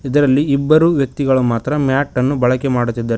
ಇದರಲ್ಲಿ ಇಬ್ಬರು ವ್ಯಕ್ತಿಗಳು ಮಾತ್ರ ಮ್ಯಾಟ್ ಅನ್ನು ಬಳಕೆ ಮಾಡುತ್ತಿದ್ದಾರೆ.